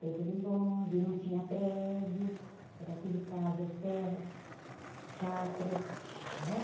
Tempo do bonde, não tinha prédio, era tudo casas, terras, chacras, né?